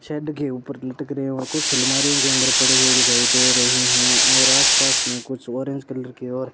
shade के ऊपर लटक रहे हैं और कुछ अलमारियों के अंदर पड़े हुए दिखाई दे रहे हैं और आसपास में कुछ ऑरेंज कलर के और --